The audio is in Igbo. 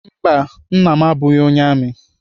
Mba, Nna m abụghị onye amị.